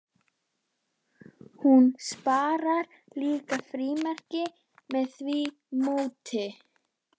Hún sparar líka frímerkin með því móti.